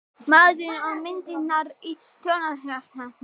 Maðurinn og myndirnar í Þjóðminjasafni